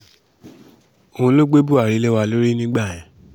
òun ló gbé buhari lé wa lórí nígbà yẹn